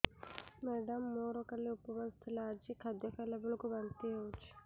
madam ମୋର କାଲି ଉପବାସ ଥିଲା ଆଜି ଖାଦ୍ୟ ଖାଇଲା ବେଳକୁ ବାନ୍ତି ହେଊଛି